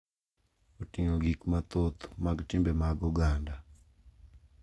Oting’o gik mathoth mag timbe mag oganda,